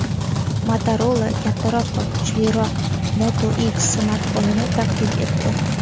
Motorola kattaroq va kuchliroq Moto X smartfonini taqdim etdi.